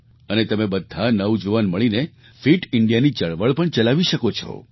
અને તમે બધા નવજુવાન મળીને ફિટ Indiaની ચળવળ પણ ચલાવી શકો છો